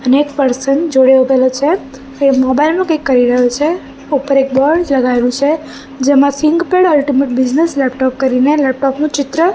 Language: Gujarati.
અને એક પર્સન જોડે ઊભેલો છે એ મોબાઈલ નુ કઈ કરી રહ્યો છે ઉપર એક બોર્ડ જગાયુ છે જેમા થીંકપેડ અલ્ટિમેટ બિઝનેસ લેપટોપ કરીને લેપટોપ નુ ચિત્ર--